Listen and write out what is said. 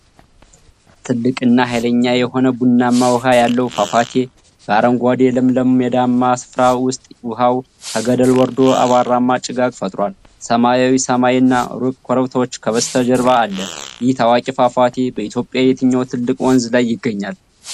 ትልቅና ኃይለኛ የሆነ ቡናማ ውኃ ያለው ፏፏቴ በአረንጓዴ ለምለም ሜዳማ ስፍራ ውስጥ ውኃው ከገደል ወርዶ አቧራማ ጭጋግ ፈጥሯል። ሰማያዊ ሰማይ እና ሩቅ ኮረብቶች ከበስተጀርባ አለ። ይህ ታዋቂ ፏፏቴ በኢትዮጵያ የትኛው ትልቅ ወንዝ ላይ ይገኛል?